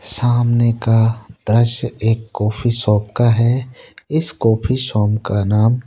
सामने का दृश्य एक कॉफी शॉप का है इस कॉफी शॉप का नाम--